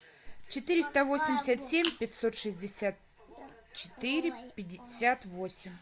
четыреста восемьдесят семь пятьсот шестьдесят четыре пятьдесят восемь